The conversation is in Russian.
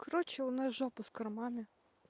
короче у нас жопа с кормами